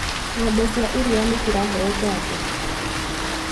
Ngombe cia iria nĩciraheo janjo.